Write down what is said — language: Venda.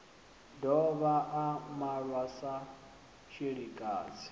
dovha a malwa sa tshilikadzi